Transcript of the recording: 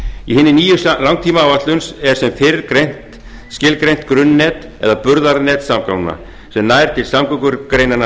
í hinni nýju langtímaáætlun er sem fyrr skilgreint grunnnet eða burðarnet samgangna sem nær til samgöngugreinanna